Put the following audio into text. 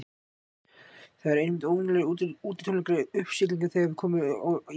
Það eru einmitt óvenjulegir útitónleikar í uppsiglingu þegar við komum í Ásbyrgi.